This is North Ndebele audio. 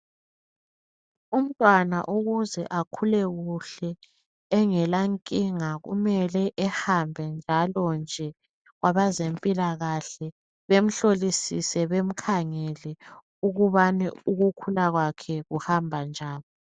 Umntwana ukuze akhule kuhle engela nkinga kumele ehambe njalo nje kwabezempilakahle bemhlolisise bemkhangele ukubana ukukhula kwakhe kuhamba njani.